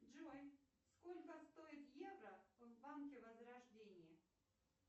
джой сколько стоит евро в банке возрождения